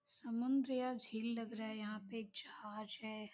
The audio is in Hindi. समुंद्र यहां झील लग रहा है यहां पे जहाज है।